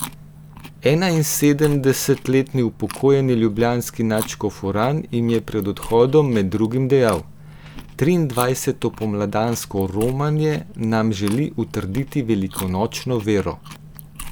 Enainsedemdesetletni upokojeni ljubljanski nadškof Uran jim je pred odhodom med drugim dejal: "Triindvajseto pomladansko romanje nam želi utrditi velikonočno vero.